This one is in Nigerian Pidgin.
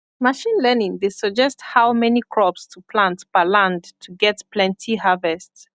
machine learning dey suggest how many crops to plant per land to get plenty harvest